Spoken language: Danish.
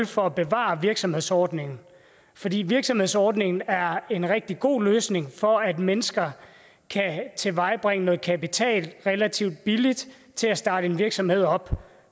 for at bevare virksomhedsordningen fordi virksomhedsordningen er en rigtig god løsning for at mennesker kan tilvejebringe noget kapital relativt billigt til at starte en virksomhed op